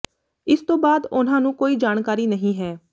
ਇਸ ਤੋਂ ਬਾਅਦ ਉਨ੍ਹਾਂ ਨੂੰ ਕੋਈ ਜਾਣਕਾਰੀ ਨਹੀਂ ਹੈ